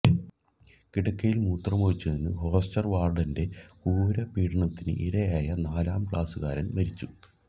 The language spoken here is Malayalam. കിടക്കയിൽ മൂത്രമൊഴിച്ചതിനു ഹോസ്റ്റർ വാർഡന്റെ ക്രൂരപീഡനത്തിനു ഇരയായ നാലാം ക്ലാസുകാരൻ മരിച്ചു